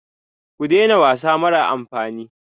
Ku daina wasa mara amfani.